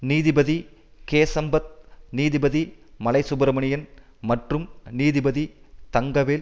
நீதிபதி கேசம்பத் நீதிபதி மலைசுப்பிரமணியன் மற்றும் நீதிபதி தங்கவேல்